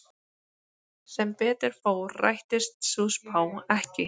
Sem betur fór rættist sú spá ekki.